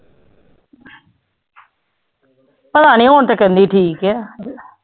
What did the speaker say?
ਪਤਾ ਨੀ ਹੁਣ ਤੇ ਕਹਿੰਦੀ ਠੀਕ ਹੈ।